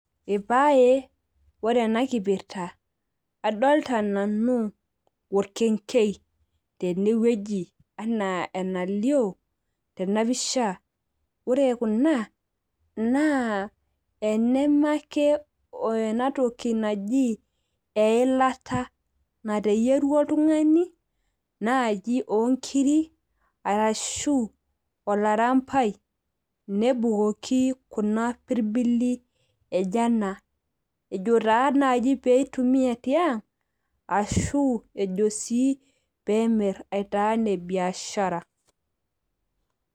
Ipae, ore enakipirta adolta nanu orkenkei tenewueji ana enalio tenapisha ,ore kuna naa tanamake enatoki naji eilata nateyieruo oltungani nai onkirik orambai nepukoki kuna pirbili ejo anaa ejo nai peitumia tiang ashu sii ejo pemir aitaa nebiashara.